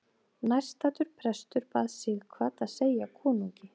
Nærstaddur prestur bað Sighvat að segja konungi.